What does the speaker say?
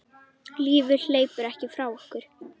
Lífið hleypur ekki frá okkur.